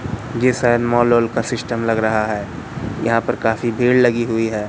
ये शायद मॉल ओल का सिस्टम लग रहा है यहां पर काफी भीड़ लगी हुई है।